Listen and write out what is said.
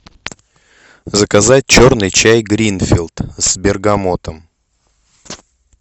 заказать черный чай гринфилд с бергамотом